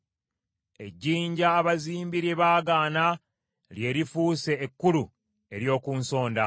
Ejjinja abazimbi lye baagaana lye lifuuse ejjinja ekkulu ery’oku nsonda.